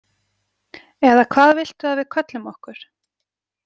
Eða hvað viltu að við köllum okkur?